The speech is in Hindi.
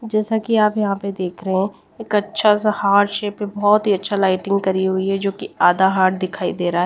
जैसा कि आप यहां पे देख रहे हैं एक अच्छा सा हार्ट शेप में बहुत ही अच्छा लाइटिंग करी हुई है जो कि आधा हार्ट दिखाई दे रहा है।